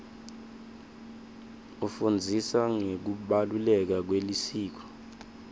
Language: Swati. ifundzisa ngekubaluleka kwesikolo